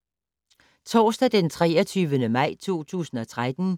Torsdag d. 23. maj 2013